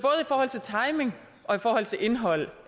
forhold til timing og i forhold til indhold